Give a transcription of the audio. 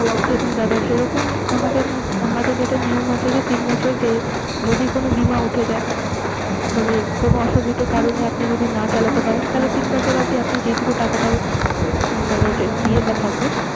দেখুন দাদা সেরকই আমাদের মধ্যে, আমাদের যেটা নিয়ম আছে যে, তিন বছর যদি কোন বীমা উঠে যায়। কোন অসুবিধার কারণে আপনি যদি না চালাতে পারেন। তাহলে তিন বছরে অব্দি যে টুকু টাকাটা মানে দিয়ে থাকবেন